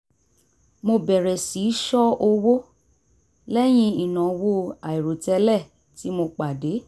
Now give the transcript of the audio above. mo bẹ̀rẹ̀ sí í ṣọ́ owó lẹ́yìn ìnáwó àìròtẹ́lẹ̀ tí mo pàdé